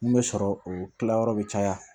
Mun bɛ sɔrɔ o kilayɔrɔ bɛ caya